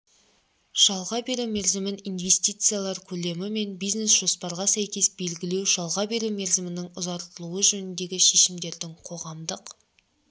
жалға беру мерзімін инвестициялар көлемі мен бизнес-жоспарға сәйкес белгілеу жалға беру мерзімінің ұзартылуы жөніндегі шешімдердің қоғамдық